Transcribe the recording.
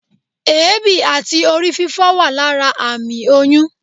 éebí atí Ori fífo wa lara amí oyún